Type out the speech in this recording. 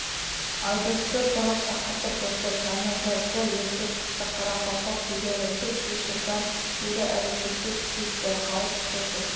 айдосты тығыз шақыртып отыр жанназарды ерте шықты қарақалпақ билері төрт-бес жылдан бері әрекетті күшейтті халық тозып